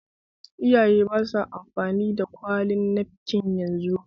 Iyaye ba sa amfani da ƙyallen nafkin yanzu